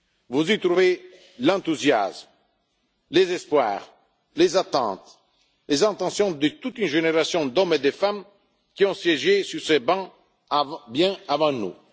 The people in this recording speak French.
Vous y trouvez l'enthousiasme, les espoirs, les attentes, les intentions de toute une génération d'hommes et de femmes qui ont siégé sur ces bancs bien avant